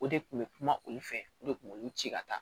O de kun bɛ kuma olu fɛ o de kun b'olu ci ka taa